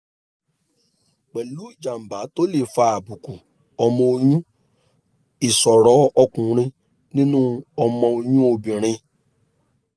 pẹ̀lú ìjábá tó lè fa àbùkù ọmọ oyún ìsọ̀rọ̀ ọkùnrin nínú ọmọ oyún obìnrin